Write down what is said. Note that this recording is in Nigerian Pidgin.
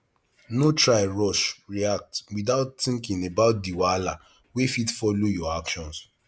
no try rush react without thinking about di wahala wey fit follow your actions